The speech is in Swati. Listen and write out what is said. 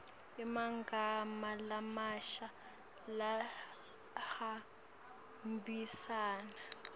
emagama lamasha lahambisana